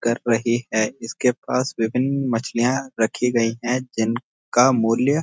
कर रही है इसके पास विभिन्‍न मछलियां रखी गई हैं जिन का मूल्‍य --